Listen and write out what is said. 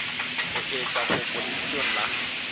o etsa kopo lebitsong la